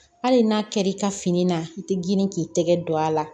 Hali n'a kɛr'i ka fini na i tɛ girin k'i tɛgɛ don a la